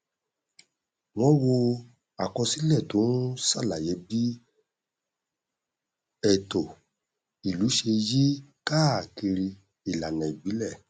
wọn wo àkọsílẹ tó n ṣàlàyé bí ẹtọ ìlú ṣe yí káàkiri ìlànà ìbílẹ